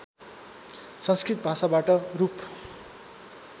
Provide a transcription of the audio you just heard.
संस्कृत भाषाबाट रूप